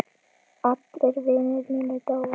Allir vinir mínir dóu.